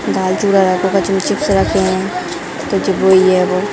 दाल-चुरा chips रखे हैं वो।